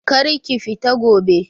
Kar ki fita gobe!